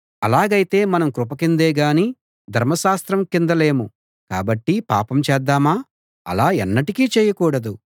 అలాగైతే మనం కృప కిందే గాని ధర్మశాస్త్రం కింద లేము కాబట్టి పాపం చేద్దామా అలా ఎన్నటికీ చేయకూడదు